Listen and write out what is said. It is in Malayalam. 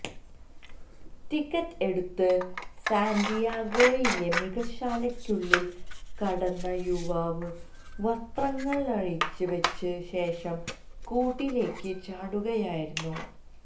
ടിക്കറ്റെടുത്ത് സാന്റിയാഗോയിലെ മൃഗശാലയ്ക്കുള്ളില് കടന്ന യുവാവ് വസ്ത്രങ്ങളഴിച്ച് വെച്ച ശേഷം കൂട്ടിലേക്ക് ചാടുകയായിരുന്നു